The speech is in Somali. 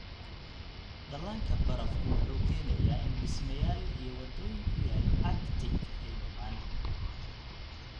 Dhallaanka barafku wuxuu keenayaa in dhismayaal iyo waddooyin ku yaal Arctic ay dumaan.